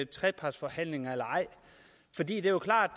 trepartsforhandlinger eller ej det er jo klart